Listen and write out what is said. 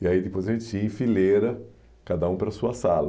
E aí depois a gente ia em fileira, cada um para a sua sala.